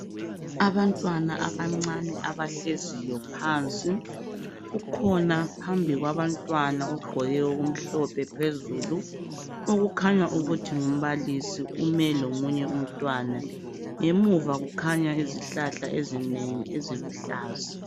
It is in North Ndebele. abantwana abancane abahleziyo phansi kukhona phambi kwabantwana ogqoke okumhlophe phezulu okukhanya ukuthi ngumbalisi ume lomunye umntwana ngemuva kukhanya izihlahla ezinengi eziluhlaza